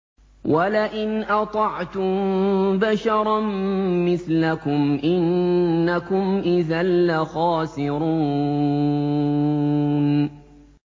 وَلَئِنْ أَطَعْتُم بَشَرًا مِّثْلَكُمْ إِنَّكُمْ إِذًا لَّخَاسِرُونَ